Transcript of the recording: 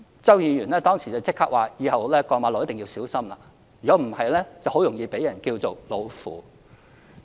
周梁淑怡議員當時立即說，以後過馬路一定要小心，否則容易被稱為"老婦"。